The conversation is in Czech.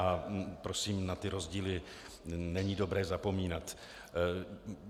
A prosím, na ty rozdíly není dobré zapomínat.